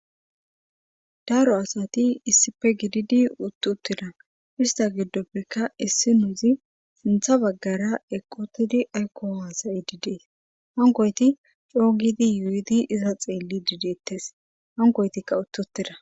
Daro asati issife gididi uttuttira ista giddoppekka issi nuuzi sintha baggara equtidi aykko haasayi didees hangoyti coogidi yuudi iza xeelli dideettes hangoytikka uttutira